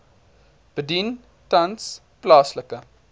bedien tans plaaslike